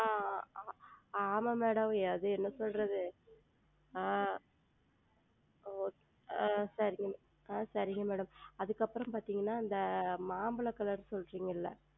ஆஹ் ஆமாம் Madam அது என்ன சொல்வது ஆஹ் ஆஹ் சரிங்கள் Madam அதற்கு அப்புறம் பார்த்தீர்கள் என்றால் மாம்பழம் Color சொன்னீர்கள் அல்லவா